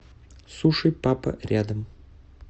суши папа рядом